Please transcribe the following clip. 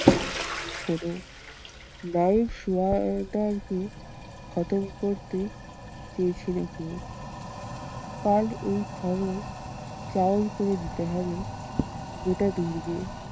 শোনো? নায়েব খতম করতে চেয়েছিলো কেউ। কাল এই খবর চাউর করে দিতে হবে গোটা দুর্গে।